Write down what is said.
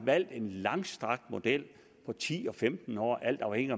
valgt en langstrakt model på ti og femten år alt afhængigt